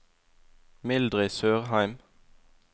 Mildrid Sørheim